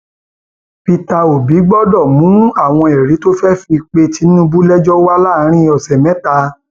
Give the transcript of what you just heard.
peter obi gbọdọ mú àwọn ẹrí tó fẹẹ fi pe tinubu lẹjọ wà láàrin ọsẹ mẹta